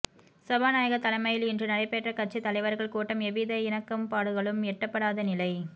சபாநாயகர் தலைமையில் இன்று நடைபெற்ற கட்சித் தலைவர்கள் கூட்டம் எவ்வித இணக்கப்பாடுகளும் எட்டப்படாத நிலை